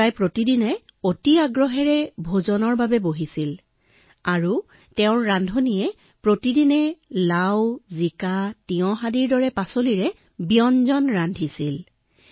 ৰজাই প্ৰতিদিনে দুপৰীয়াৰ আহাৰত সুমিষ্ট আহাৰৰ আশা কৰিছিল যদিও ৰান্ধনিয়ে সদায় তেওঁক নিৰস শাকপাচলি ৰান্ধি খুৱাইছিল